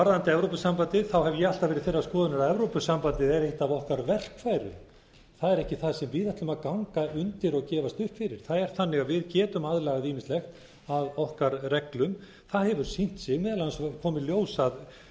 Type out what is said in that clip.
varðandi evrópusambandið hef ég alltaf verið þeirrar skoðunar að evrópusambandið sé eitt af okkar verkfærum það er ekki það sem við ætlum að ganga undir og gefast upp fyrir það er þannig að við getum aðlagað ýmislegt að okkar reglum það hefur sýnt sig meðal annars kom í ljós hvernig